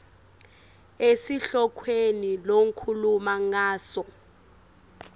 esihlokweni lokhuluma ngaso